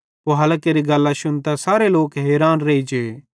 पुहालां केरि गल्लां शुन्तां सारे लोक हैरान रेइजे